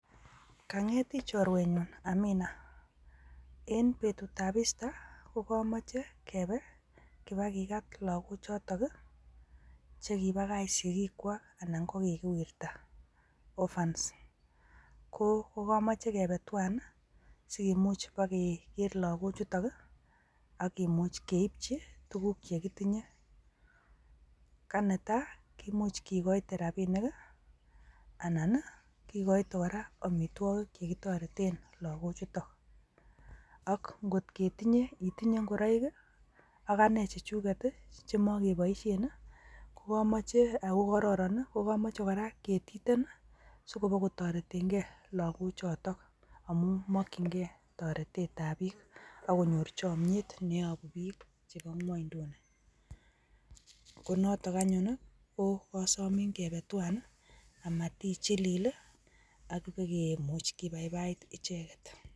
Kanget tii choruenyun Amina, en betyut ab easter ko komoche kebe kibakikat lokok choton chekibakal sikikwak anan ko kikiwirta orphans ko komooche kebe twan nii sikumuch bokeker loko chuto ak kimuch keipji tukuk chekitinyee ka netai ki imuch kikoite rabinik anan kikoite koraa omitwokik chekitoreten loko chuton.ak iko ketinye itinyee ikoroik kii ak anee chu chuket chemokeboishen kokomoche okororo nii kokomoche koraa ketiten sibo kotoreten gee loko choton amu mokin gee torete ab bik ak konyor choimiet neyopu bik chebo ngwoiduni, ko noton anyun nii kokosomii kebe twan nii amat ichilil lii ak ibokimuch kibaibait icheket.